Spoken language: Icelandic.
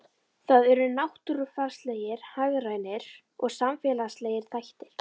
Það eru náttúrufarslegir, hagrænir og samfélagslegir þættir.